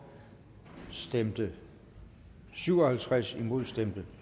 stemte syv og halvtreds imod stemte